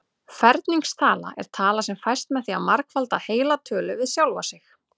Ferningstala er tala sem fæst með því að margfalda heila tölu við sjálfa sig.